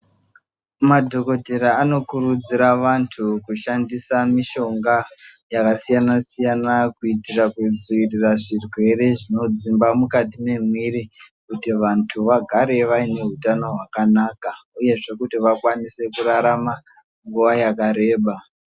Madhogodhera anokurudzira vantu kushandisa mishonga yakasiyana-siyana kuitira kudzivirira zvirwere zvinodzimba mukati memuviri kuti vantu vagare vaine hutano hwakanaka uyezve kuti vakwanise kurarama nguva yakareba.